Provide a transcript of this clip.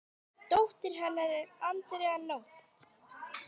Dóttir hennar er Andrea Nótt.